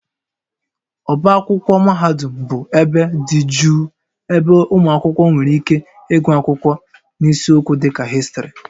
Ọbá akwụkwọ mahadum bụ ebe dị jụụ ebe ụmụ akwụkwọ nwere ike ịgụ akwụkwọ n'isiokwu dịka Histrị